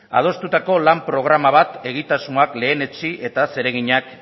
adostutako lan programa bat egitasmoak lehenetsi eta zereginak